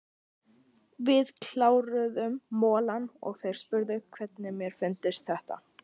Við kláruðum molann og þeir spurðu hvernig mér fyndist þetta.